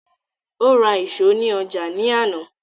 O ra ìṣo ní ọjà ní àná